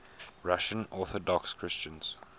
russian orthodox christians